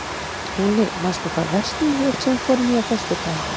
Húni, manstu hvað verslunin hét sem við fórum í á föstudaginn?